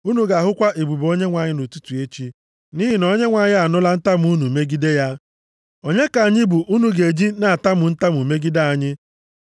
Unu ga-ahụkwa ebube Onyenwe anyị nʼụtụtụ echi, nʼihi na Onyenwe anyị anụla ntamu unu megide ya. Onye ka anyị bụ unu ga-eji na-atamu ntamu megide anyị?”